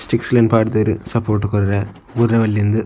Sticks line ಪಾಡ್ದೆರ್ support ಕೊರ್ರೆ ಬೂರೆ ಬಲ್ಲಿಂದ್.